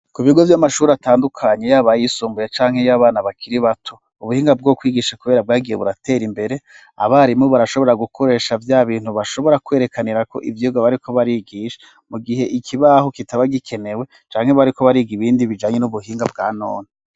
Ku bigo vy'amashuri atandukanye yaba ayisumbuye canke yo abana bakiri bato ,ubuhinga bwo kwigisha kubera bwagiye buratera imbere abarimu barashobora gukoresha vyabintu bashobora kwerekanira ko ivyirwa bariko barigisha mu gihe ikibaho kitaba gikenewe, canke bariko bariga ibindi bijanye n'ubuhinga bwa none.